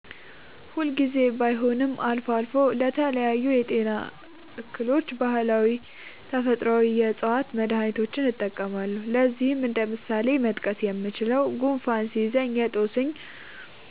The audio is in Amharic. ሁል ጊዜ ባይሆንም አልፎ አልፎ ለተለያዩ የጤና እክሎች ባህላዊና ተፈጥአዊ የ ዕፅዋት መድሀኒቶችን እጠቀማለሁ። ለዚህም እንደ ምሳሌ መጥቀስ የምችለው፣ ጉንፋን ሲይዘኝ የ ጦስኝ